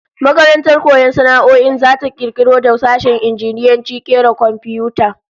Makarantar koyon sana'o'in zata kirkiro da sashen injiniyancin kera komfiyuta